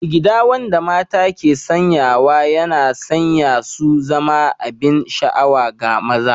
Jigida wanda mata ke sanyawa yana sanya su zama abin sha'awa ga maza